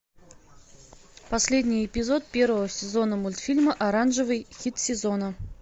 последний эпизод первого сезона мультфильма оранжевый хит сезона